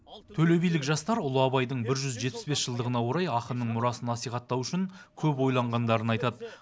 төле билік жастар ұлы абайдың бір жүз жетпіс бес жылдығына орай ақынның мұрасын насихаттау үшін көп ойланғандарын айтады